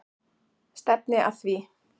Stefni að því.